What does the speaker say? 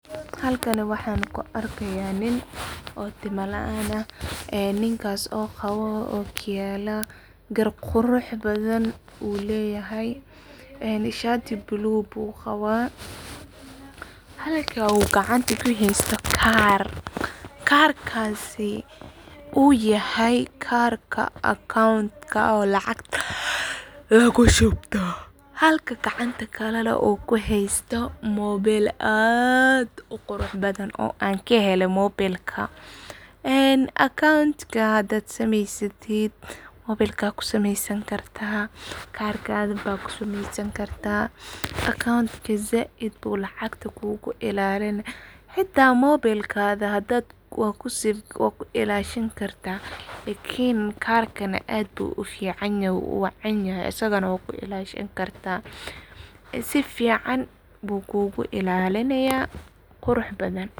Halkani waxa ku argaya nin oo tima laan aah ee Ninkas oo Qaboh okiyala Gaar quruxbathan yuleeyahay, ee shaati blue bu Qabah wa Halka kacanta kuhaysatha wa Gaar gaarkasi oo yahay gaarka account ee lacag lagushubtoh, halkan kacntakali oo kuhaystah mobile aad u quruxbadan oo an kahelaya mobelka ee acoounta handa sameysatid mobelka kusameysani kartah kargatthi ba kusameysani kartah account ka saait bu lacgta kugu ilalinah xata mobelkathi lacag wa ku ilashani kartah ikln gaarka aad bu u ficanya asagana wa ku ilashani kartah sufican bu kugu ilalinaya quruxbathan.